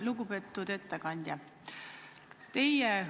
Lugupeetud ettekandja!